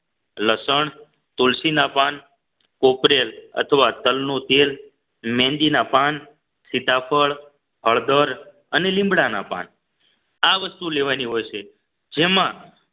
લસણ તુલસીના પાન કોપરેલ અથવા તલનું તેલ મહેંદી ના પાન સીતાફળ હળદર અને લીમડાના પાન આ વસ્તુ લેવાની હોય છે જેમાં